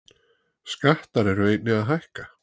Skattar eru einnig að hækka